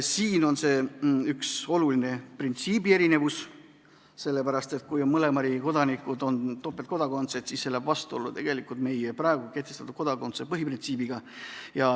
Siin on aga üks oluline printsiibi erinevus, sellepärast et kui ollakse mõlema riigi kodanikud ja topeltkodakondsusega, siis minnakse vastuollu meie praegu kehtiva kodakondsuse põhiprintsiibiga.